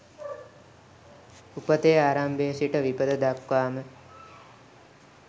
උපතේ ආරම්භයේ සිට විපත දක්වාම